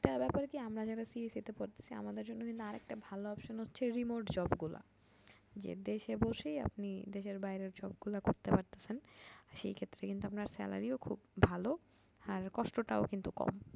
একটা ব্যাপার কি আমরা যারা CSE তে পড়তেসি আমাদের জন্য কিন্তু আরেকটা ভালো option হচ্ছে remote job গুলা যে দেশে বসেই আপনি দেশের বাইরের job গুলা করতে পারতেসেন সেক্ষেত্রে কিন্তু আপনার salary ও খুব ভালো আর কষ্ট টাও কিন্তু কম